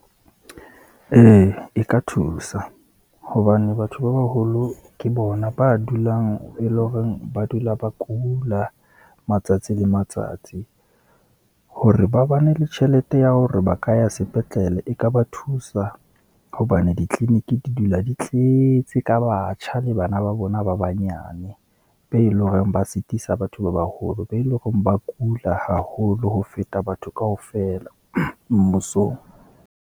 Ee e ka thusa, hobane batho ba baholo ke bona ba dulang, e leng horeng ba dula ba kula matsatsi le matsatsi, hore ba bane le tjhelete ya hore ba ka ya sepetlele, e ka ba thusa hobane ditleleniki di dula di tleetse ka batjha le bana ba bona ba banyane, be leng hore ba sitisa batho ba baholo, be leng hore ba kula haholo ho feta batho kaofela mmusong.